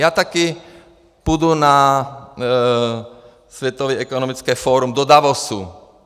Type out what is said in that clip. Já také pojedu na Světové ekonomické fórum do Davosu.